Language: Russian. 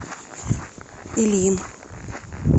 ильин